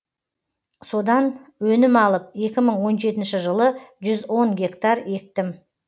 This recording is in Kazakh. содан өнім алып екі мың он жетінші жылы жүз он гектар ектім